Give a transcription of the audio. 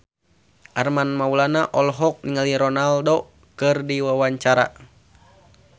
Armand Maulana olohok ningali Ronaldo keur diwawancara